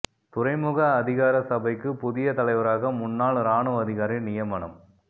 துறைமுக அதிகார சபைக்கு புதிய தலைவராக முன்னாள் இராணுவ அதிகாரி நியமனம்